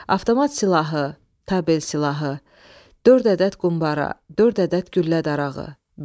Avtomat silahı, tabel silahı, dörd ədəd qumbara, dörd ədəd güllə darağı.